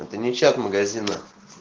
это не чат магазина